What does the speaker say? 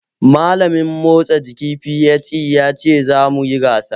Malamin motsa jiki(PHE) yace za mu yi gasa.